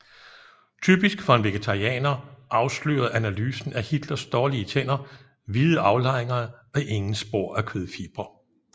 Typisk for en vegetarianer afslørede analysen af Hitlers dårlige tænder hvide aflejringer og ingen spor af kødfibre